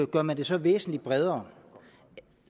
gør man det så væsentlig bredere